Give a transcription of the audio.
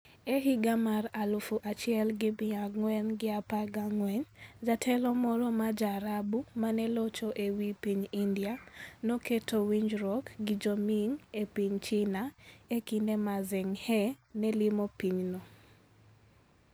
E higa mar 1414, jatelo moro ma Ja-Arabu ma ne locho e wi piny India, noketo winjruok gi Jo-Ming e piny China e kinde ma Zheng He ne limo pinyno.